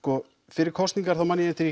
fyrir kosningar man ég eftir